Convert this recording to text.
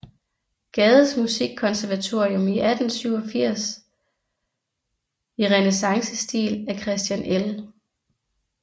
Gades musikkonservatorium i 1887 i renæssancestil af Christian L